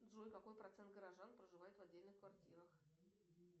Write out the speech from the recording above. джой какой процент горожан проживает в отдельных квартирах